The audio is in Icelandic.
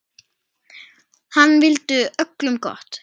Hann vildi öllum gott.